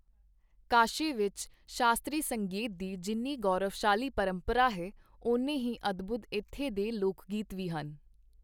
ਕਾਸ਼ੀ ਵਿੱਚ ਸ਼ਾਸਤ੍ਰੀ ਸੰਗੀਤ ਦੀ ਜਿੰਨੀ ਗੌਰਵਸ਼ਾਲੀ ਪਰੰਪਰਾ ਹੈ, ਓਨੇ ਹੀ ਅਦਭੁਤ ਇੱਥੇ ਦੇ ਲੋਕਗੀਤ ਵੀ ਹਨ।